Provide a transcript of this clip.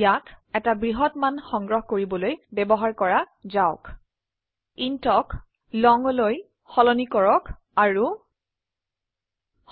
ইয়াক এটা ব্হত মান সংগ্ৰহ কৰিবলৈ ব্যবহাৰ কৰা যাওক ইণ্ট ক longলৈ সলনি কৰক আৰু